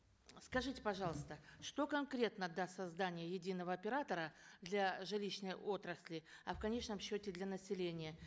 скажите пожалуйста что конкретно даст создание единого оператора для жилищной отрасли а в конечном счете для населения